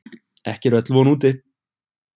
Ekki er öll von úti!